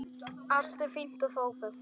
Allt er fínt og fágað.